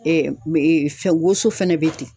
fɛn woso fɛnɛ bɛ ten.